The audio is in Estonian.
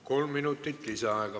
Kolm minutit lisaaega.